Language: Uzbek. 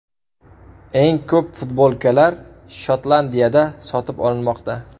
Eng ko‘p futbolkalar Shotlandiyada sotib olinmoqda.